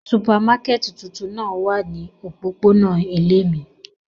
Supamakẹti tuntun náa wa ni opopona ile mi.